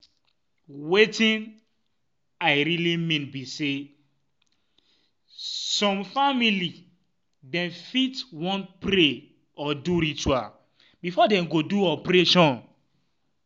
wetin um i realy um mean be say some family dem fit um want pray or do ritual before dem go do operation